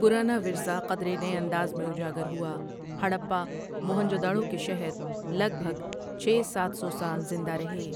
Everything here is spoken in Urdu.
پرانا ورثہ قدرے نئے انداز میں اجاگر ہوا ہرپہ، موہنجو ڈارو کے شہر لگ بھگ چھ سات سو سال زندہ رہے ۔